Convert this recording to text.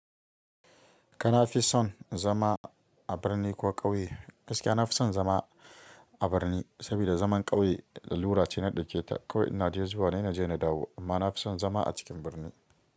Kana fi son zama a birni ko ƙauye? Gaskiya na fi son zama a birni, saboda zaman ƙauye lalura ce na ɗauke ta. Kawai ina dai zuwa ne naje na dawo amma na fi son zama a cikin birni.